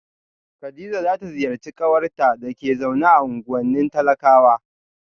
kadija za ta ziyarci kawarta da ke zaune a unguwannin talakawa